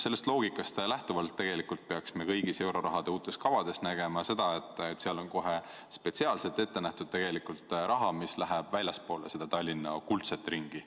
Sellest loogikast lähtuvalt peaks kõigis uutes eurorahakavades olema kohe spetsiaalselt ette nähtud raha, mis läheb väljapoole Tallinna kuldset ringi.